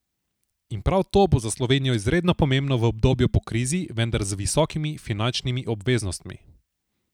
In prav to bo za Slovenijo izredno pomembno v obdobju po krizi, vendar z visokimi finančnimi obveznostmi.